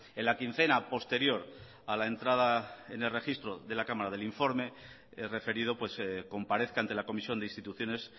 en la quincena posterior a la entrada en el registro de la cámara del informe referido comparezca ante la comisión de instituciones